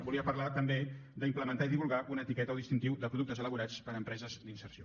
volia parlar també d’implementar i divulgar una etiqueta o distintiu de productes elaborats per empreses d’inserció